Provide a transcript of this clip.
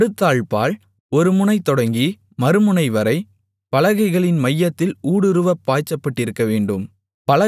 நடுத்தாழ்ப்பாள் ஒரு முனை தொடங்கி மறுமுனைவரை பலகைகளின் மையத்தில் ஊடுருவப் பாய்ச்சப்பட்டிருக்கவேண்டும்